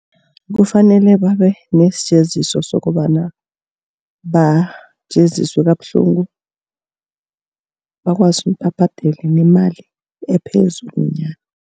Kufanele babe nesijeziso sokobana bajeziswa kabuhlungu bakwazi babhadele nemali ephezulu nyana.